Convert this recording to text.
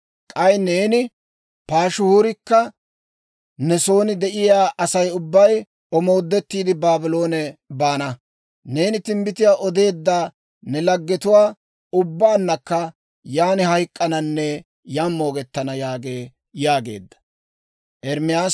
K'ay neeni Paashihuurikka ne son de'iyaa Asay ubbay omoodettiide, Baabloone baana. Neeni timbbitiyaa odeedda ne laggetuwaa ubbaannakka yaan hayk'k'ananne yaan moogettana› yaagee» yaageedda.